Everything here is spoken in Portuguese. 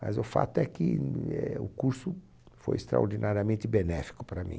Mas o fato é que éh o curso foi extraordinariamente benéfico para mim.